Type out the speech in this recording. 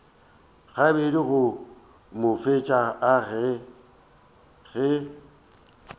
gabedi go mo feta ge